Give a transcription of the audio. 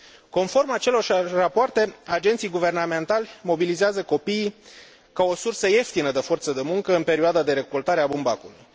Conform acelorași rapoarte, agenții guvernamentali mobilizează copiii ca o sursă ieftină de forță de muncă în perioada de recoltare a bumbacului.